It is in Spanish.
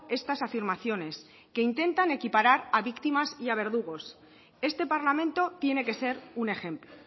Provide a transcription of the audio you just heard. estas afirmaciones que intentan equiparar a víctimas y a verdugos este parlamento tiene que ser un ejemplo